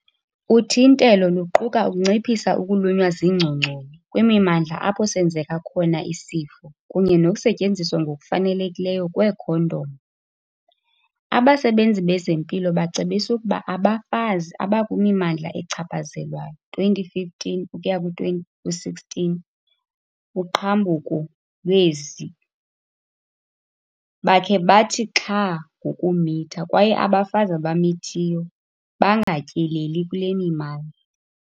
Uthintelo luquka ukunciphisa ukulunywa ziingcongconi kwimimandla apho senzeka khona isifo kunye nokusetyenziswa ngokufanelekileyo kweekhondom. Abasebenzi bezempilo bacebisa ukuba abafazi abakwimimandla echaphazelwayo 2015 ukuya ku-2016 uqhambuko lwe-Zika bakhe bathi xhaa ngokumitha kwaye abafazi abamithiyo bangatyeleli kule mimandla.